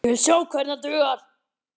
Ég vil sjá hvernig hann dugar!